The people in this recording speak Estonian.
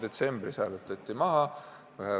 Detsembris see hääletati maha.